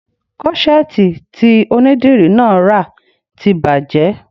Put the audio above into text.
Kọ́ṣẹ̀ẹ̀tì tí onídìrí náà rà ti bàjẹ́